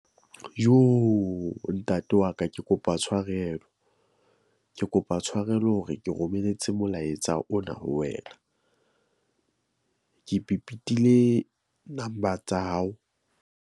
Jooo ntate wa ka, ke kopa tshwarelo. Ke kopa tshwarelo hore ke romelletse molaetsa ona ho wena . Ke pepetile number tsa hao.